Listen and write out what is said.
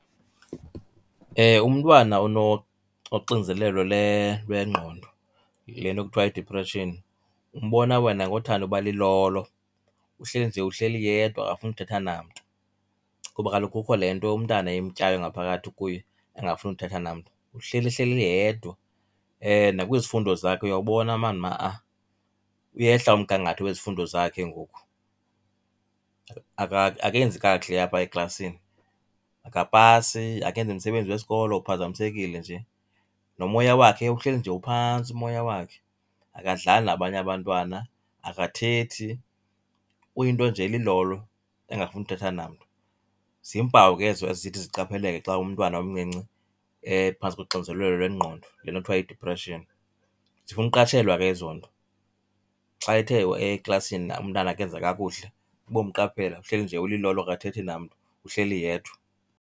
Umntwana onoxinzelelo lwengqondo, le nto kuthiwa yidiphreshini, umbona wena ngothanda uba lilolo, uhleli nje uhleli yedwa akafuni uthetha namntu kuba kaloku kukho le nto umntana imtyayo ngaphakathi kuye engafuni uthetha namntu. Uhleli ehleli yedwa, nakwizifundo zakhe uyawubona mani ha-a uyehla umgangatho wezifundo zakhe ngoku. Akenzi kakuhle apha eklasini, akapasi, akenzi msebenzi wesikolo uphazamisekile nje. Nomoya wakhe uhleli nje uphantsi umoya wakhe, akadlali nabanye abantwana akathethi, uyinto nje elilolo engafuni uthetha namntu. Ziimpawu ke ezo ezithi ziqapheleke xa umntwana omncinci ephantsi koxinzelelo lwengqondo, le nto kuthiwa yidiphreshini. Zifuna uqatshelwa ke ezo nto, xa ethe eklasini umntana akenza kakuhle ubomqaphela, uhleli nje ulilolo akathethi namntu uhleli yedwa.